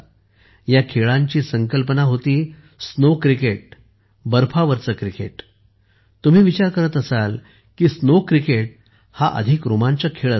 या खेळांची संकल्पना थीम होती स्नो क्रिकेट बर्फावरचे क्रिकेट तुम्ही विचार करत असाल की स्नो क्रिकेट हा अधिक रोमांचक खेळ असेल